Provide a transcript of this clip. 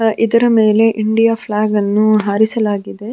ಇದರ ಮೆಲೆ ಇಂಡಿಯ ಫ್ಲೆಗನ್ನು ಹಾರಿಸಲಾಗಿದೆ.